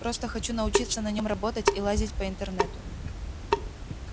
просто хочу научиться на нём работать и лазить по интернету